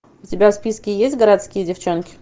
у тебя в списке есть городские девчонки